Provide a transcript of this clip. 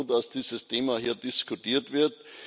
Ich bin froh, dass dieses Thema hier diskutiert wird.